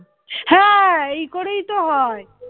হ্যাঁ এই করেই তো হয়